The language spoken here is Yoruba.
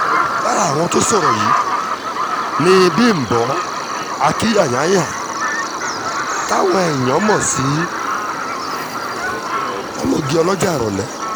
lára àwọn tó sọ̀rọ̀ yìí ni bímbọ a kyanyanya táwọn èèyàn mọ̀ sí ọmọge ọlọ́jà ìrọ̀lẹ́